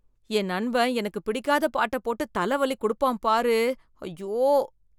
என் நண்பன் எனக்கு பிடிக்காத பாட்ட போட்டு தல வலி குடுப்பான் பாரு, அய்யோ.